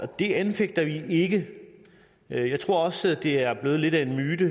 det anfægter vi ikke jeg tror også det er blevet lidt af en myte